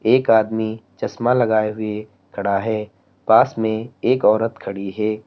एक आदमी चश्मा लगाए हुए खड़ा है पास में एक औरत खड़ी है।